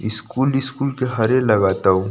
school school के हरे लगत अउ --